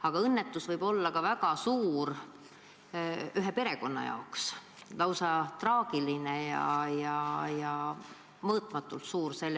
Aga õnnetus võib olla väga suur ka ühe perekonna jaoks – lausa traagiline, mõõtmatult suur.